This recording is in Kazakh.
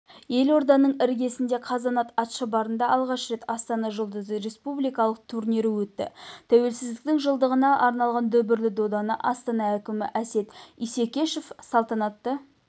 елорданың іргесіндегі қазанат атшабарында алғаш рет астана жұлдызы республикалық турнирі өтті тәуелсіздіктің жылдығына арналған дүбірлі доданы астана әкімі әсет исекешев салтанатты